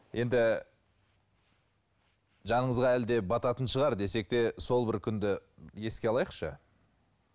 енді жаныңызға әлі де бататын шығар десек те сол бір күнді еске алайықшы